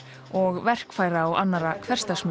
og verkfæra og annarra